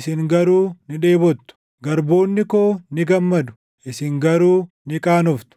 isin garuu ni dheebottu; garboonni koo ni gammadu; isin garuu ni qaanoftu.